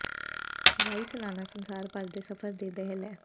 ਹਵਾਈ ਸਾਲਾਨਾ ਸੰਸਾਰ ਭਰ ਦੇ ਸਫ਼ਰ ਦੇ ਦਹਿ ਲੈ